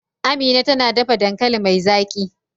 Amina tana dafa dankali mai zaki.